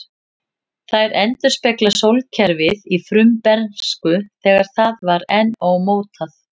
Þær endurspegla sólkerfið í frumbernsku, þegar það var enn ómótað.